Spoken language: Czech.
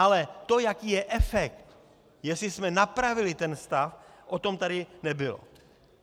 Ale to, jaký je efekt, jestli jsme napravili ten stav, o tom tady nebylo.